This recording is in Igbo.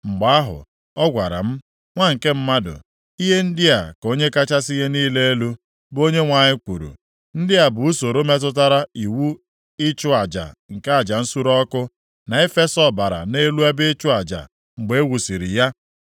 Mgbe ahụ, ọ gwara m, “Nwa nke mmadụ, ihe ndị a ka Onye kachasị ihe niile elu, bụ Onyenwe anyị kwuru: Ndị a bụ usoro metụtara iwu ịchụ aja nke aja nsure ọkụ, na ifesa ọbara nʼelu ebe ịchụ aja mgbe e wusiri ya.